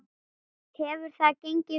Hefur það gengið vel?